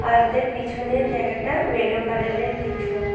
আর ওদের পিছনের জায়গাটা ভেলো কালারের কিছু--